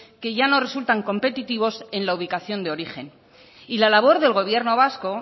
que ya no resultan competitivos en la ubicación de origen y la labor del gobierno vasco